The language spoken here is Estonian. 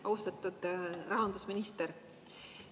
Austatud rahandusminister!